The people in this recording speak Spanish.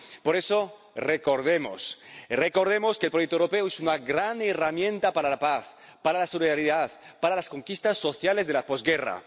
Por eso, recordemos que el proyecto europeo es una gran herramienta para la paz, para la solidaridad, para las conquistas sociales de la posguerra.